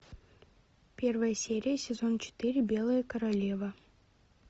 первая серия сезон четыре белая королева